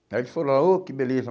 Aí eles foram lá, ô, que beleza.